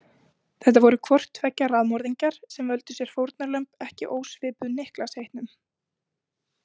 Þetta voru hvorttveggja raðmorðingjar sem völdu sér fórnarlömb ekki ósvipuð Niklas heitnum.